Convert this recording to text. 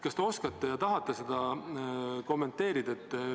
Kas te oskate ja tahate seda kommenteerida?